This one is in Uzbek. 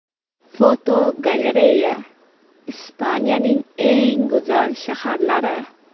Fotogalereya: Ispaniyaning eng go‘zal shaharlari.